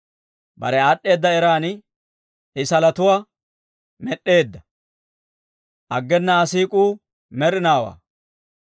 Bare aad'd'eeda eran I salotuwaa med'd'eedda; aggena Aa siik'uu med'inaawaa.